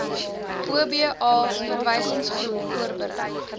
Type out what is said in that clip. oba verwysingsgroep voorberei